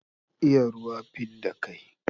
Iya ruwa, fidda kai.